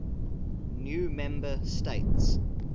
new member states